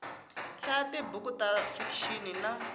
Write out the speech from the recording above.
hlaya tibuku ta fikixini na